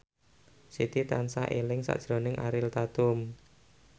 Siti tansah eling sakjroning Ariel Tatum